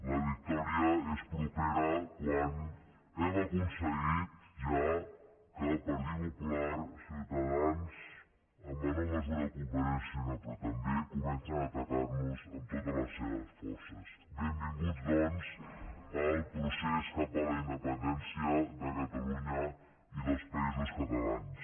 la victòria és propera quan hem aconseguit ja que el partit popular ciutadans en menor mesura convergència i unió però també comencen a atacar nos amb totes les seves forces benvinguts doncs al procés cap a la independència de catalunya i dels països catalans